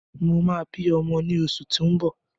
Mo máa bí ọmọ ní oṣù tí ó ń bọ̀